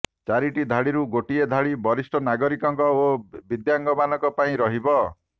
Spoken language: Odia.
ଚାରିଟି ଧାଡିରୁ ଗୋଟିଏ ଧାଡି ବରିଷ୍ଠ ନାଗରିକ ଓ ଦିବ୍ୟାଙ୍ଗମାନଙ୍କ ପାଇଁ ରହିବ